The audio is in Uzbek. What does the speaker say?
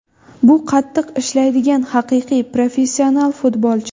Bu qattiq ishlaydigan haqiqiy professional futbolchi.